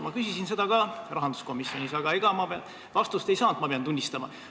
Ma küsisin seda ka rahanduskomisjonis, aga ega ma vastust ei saanud, pean tunnistama.